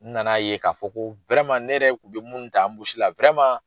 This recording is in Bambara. N na n'a ye k'a fɔ ko ne yɛrɛ kun bɛ minnu ta anbusi la